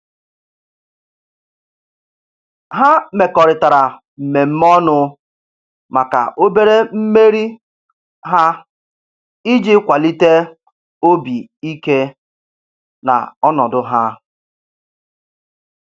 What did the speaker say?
Ha mekọrịtara mmemme ọnụ maka obere mmeri ha iji kwalite obi ike na ọnọdụ ha.